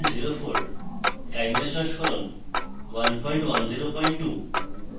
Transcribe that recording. chimera সংস্করণ 1102